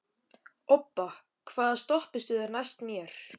Obba, hvaða stoppistöð er næst mér?